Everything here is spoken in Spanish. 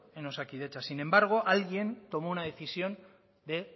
en osakidetza sin embargo alguien tomó una decisión de